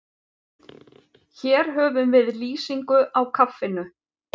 Hér höfum við lýsingu á kaffinu.